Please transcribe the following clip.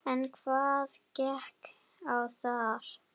En hvað gekk á þar?